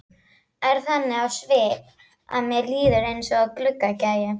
Er þannig á svip að mér líður eins og gluggagægi.